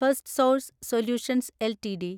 first source solutions LTD